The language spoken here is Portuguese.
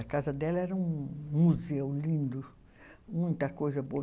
A casa dela era um museu lindo, muita coisa boa.